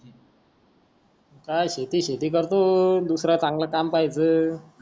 काय शेती शेती करतो तू दुसरा चांगला काम पहायचं